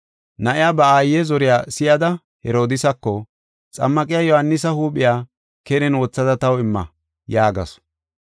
Na7iya ba aaye zoriya si7ada Herodiisako, “Xammaqiya Yohaanisa huuphiya keren wothada taw imma” yaagasu.